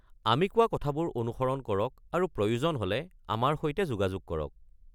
আমি কোৱা কথাবোৰ অনুসৰণ কৰক আৰু প্ৰয়োজন হ'লে আমাৰ সৈতে যোগাযোগ কৰক।